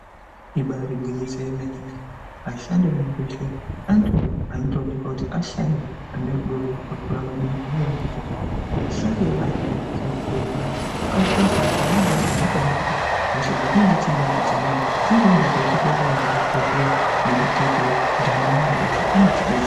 Ibaari gwinyiso remene-mene. Ashandi emuzvibhedhlera antu anotonekwa kuti ashandi ane rudo rwakakura maningi kunyari kuti kamushandire kavanoita nesu muzvibhedhlera kakakosha nekuti hosha dzatinonga tinadzo dzimweni dzinonga dzisingatoiti kuenda nadzo kuzvibhedhlera nekuti tinonga teidhana maningi asi vanotidetsera.